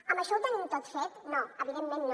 amb això ho tenim tot fet no evidentment no